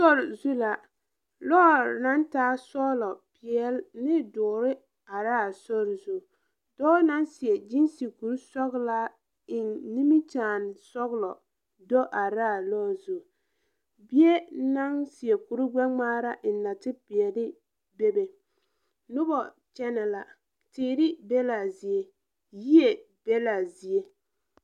Sore zu la lɔɔre naŋ taa sɔglɔ peɛɛl ne doɔre araa sori zu dɔɔ naŋ seɛ gyiise kuri sɔglaa eŋ nimikyaane sɔglɔ do are laa lɔɔre zu bie naŋ seɛ kuri gbɛngmaara a eŋ natepeɛɛle bebe nobɔ kyɛnɛ la teere be laa zie yie be laa zie.